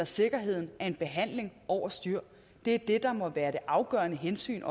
sikkerheden af en behandling over styr det er det der må være det afgørende hensyn